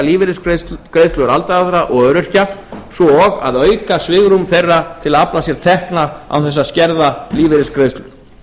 að hækka lífeyrisgreiðslur aldraðra og öryrkja svo og að auka svigrúm þeirra til að afla sér tekna án þess að skerða lífeyrisgreiðslur